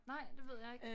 Nej det ved jeg ikke